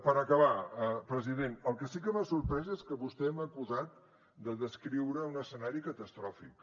per acabar president el que sí que m’ha sorprès és que vostè m’ha acusat de descriure un escenari catastròfic